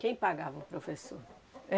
Quem pagava o professor?